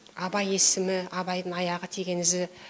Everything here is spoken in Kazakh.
абай есімі абайдың аяғы тиген ізі